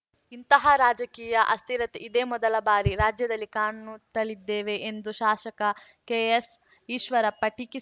ಇಂತಹ ರಾಜಕೀಯ ಅಸ್ಥಿರತೆ ಇದೇ ಮೊದಲ ಬಾರಿ ರಾಜ್ಯದಲ್ಲಿ ಕಾಣುತ್ತಲಿದ್ದೇವೆ ಎಂದು ಶಾಸಕ ಕೆಎಸ್‌ ಈಶ್ವರಪ್ಪ ಟೀಕಿಸಿ